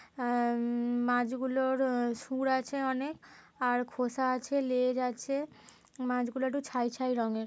আহ উ মাছ গুলোর আহ সুর আছে অনেক। আর খোসা আছে লেজ আছে। মাছ গুলো একটু ছাই ছাই রঙের।